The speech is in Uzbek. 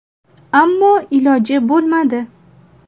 Ammo iloji bo‘lmadi.